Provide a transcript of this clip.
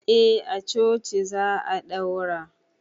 A a coci za a daura